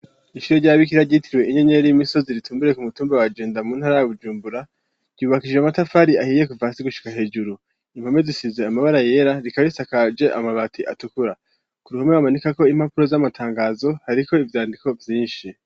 Ishuri ry'ababikira ryitiriwe inyenyeri y'imisozi ritumbereye ku mutumba wa Jenda mu ntara ya Bujumbura ryubakishije amatafari ahiye kuva hasi gushika hejuru, impome zisize amabara yera, rikaba risakaje amabati atukura, ku ruhome bamanikako impapuro z'amatangazo hariko ivyandiko vyinshi.